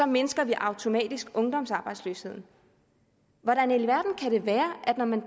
mindsker vi automatisk ungdomsarbejdsløsheden hvordan i alverden kan det være at når man